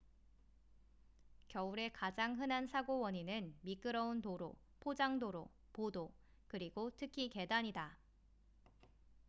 겨울에 가장 흔한 사고 원인은 미끄러운 도로 포장도로보도 그리고 특히 계단이다